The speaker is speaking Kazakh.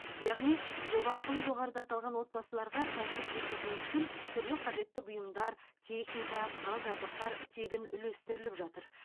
яғни жоба арқылы жоғарыда аталған отбасыларға кәсіп жүргізу үшін түрлі қажетті бұйымдар техника құрал жабдықтар тегін үлестіріліп жатыр